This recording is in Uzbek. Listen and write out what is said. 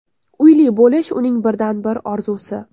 Uyli bo‘lish uning birdan-bir orzusi.